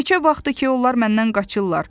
Neçə vaxtdır ki, onlar məndən qaçırlar.